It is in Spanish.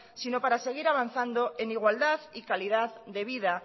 sino para seguir avanzando en igualdad y calidad de vida